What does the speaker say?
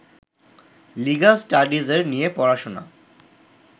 legal স্টাডিজের নিয়ে পড়াশোনা